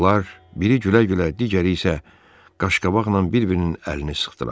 Onlar biri gülə-gülə, digəri isə qaşqabaqla bir-birinin əlini sıxdılar.